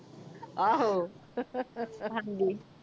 ਆਹੋ ਹਾਂਜੀ